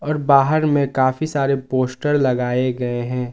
बाहर में काफी सारे पोस्टर लगाए गए हैं।